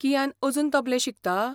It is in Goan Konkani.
कियान अजून तबलें शिकता?